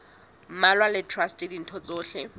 mmalwa le traste ditho tsohle